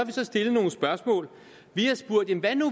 har så stillet nogle spørgsmål vi har spurgt